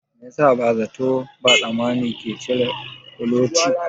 Me yasa ba zato ba tsammani ka cire kuloci